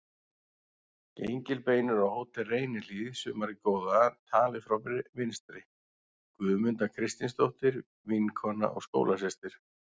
Gengilbeinur á Hótel Reynihlíð sumarið góða, talið frá vinstri: Guðmunda Kristinsdóttir, vinkona og skólasystir